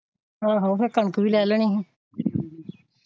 ਆਹੋ ਫੇਰ ਕਣਕ ਵੀ ਲੈ ਲੈਣੀ ਸੀ।